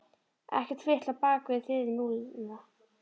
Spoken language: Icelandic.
Ekkert fitl á bak við þil núna.